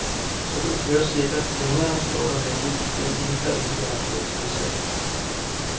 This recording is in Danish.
Så du kan køre sikkert, længere, står der venligt i den indkaldelse, jeg har fået tilsendt.